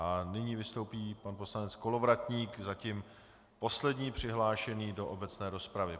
A nyní vystoupí pan poslanec Kolovratník, zatím poslední přihlášený do obecné rozpravy.